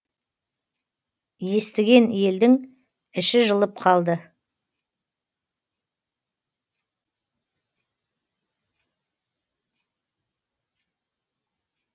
естіген елдің іші жылып қалды